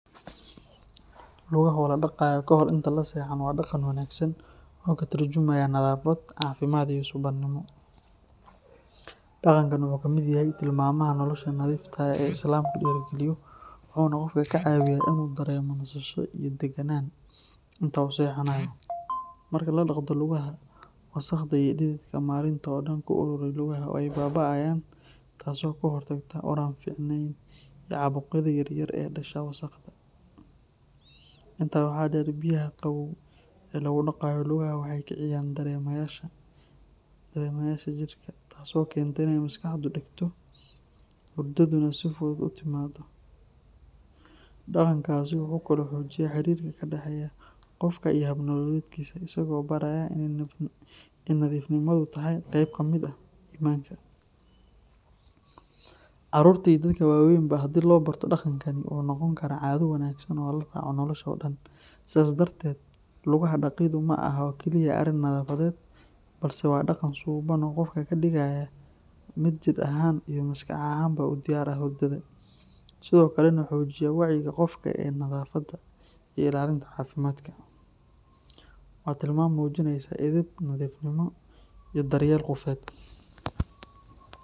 Lugaha oo la dhaqayo kahor inta la seexan waa dhaqan wanaagsan oo ka tarjumaya nadaafad, caafimaad iyo suubanimo. Dhaqankan wuxuu ka mid yahay tilmaamaha nolosha nadiifta ah ee Islaamku dhiirrigeliyo, wuxuuna qofka ka caawiyaa inuu dareemo nasasho iyo deganaan inta uu seexanayo. Marka la dhaqdo lugaha, wasakhda iyo dhididka maalinta oo dhan ku uruuray lugaha way baaba'ayaan, taasoo ka hortagta ur aan fiicneyn iyo caabuqyada yaryar ee ka dhasha wasakhda. Intaa waxaa dheer, biyaha qabow ee lagu dhaqayo lugaha waxay kiciyaan dareemayaasha jidhka, taasoo keenta inay maskaxdu degto, hurdaduna si fudud u timaaddo. Dhaqankaasi wuxuu kaloo xoojiyaa xiriirka ka dhexeeya qofka iyo hab-nololeedkiisa, isagoo baraya in nadiifnimadu tahay qayb ka mid ah iimaanka. Carruurta iyo dadka waaweynba haddii loo barto dhaqankan, wuxuu noqon karaa caado wanaagsan oo la raaco nolosha oo dhan. Sidaas darteed, lugaha dhaqiddu ma aha oo keliya arrin nadaafadeed balse waa dhaqan suubban oo qofka ka dhigaya mid jidh ahaan iyo maskax ahaanba u diyaar ah hurdada, sidoo kalena xoojiya wacyiga qofka ee nadaafadda iyo ilaalinta caafimaadka. Waa tilmaam muujinaysa edeb, nadiifnimo, iyo daryeel qofeed.